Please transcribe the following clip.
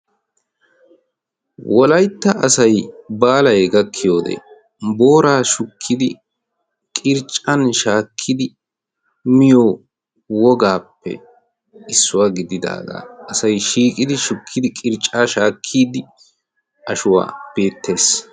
wolaytta asai baalay gakkiyoodee booraa shukkidi qirccan shaakkidi miyo wogaappe issuwaa gididaagaa asai shiiqidi shukkidi qircca shaakkiidi ashuwaa beettees.